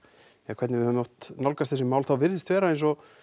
hvernig við höfum oft nálgast þessi mál þá virðist vera eins og